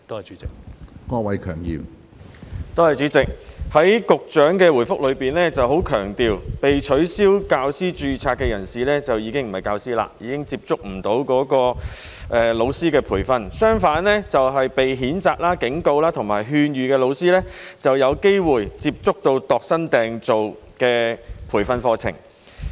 主席，局長在主體答覆中很強調，被取消教師註冊的人士已經不是教師，已經接觸不到老師的培訓；相反，被譴責、警告或勸諭的老師則有機會接觸到度身訂造的培訓課程。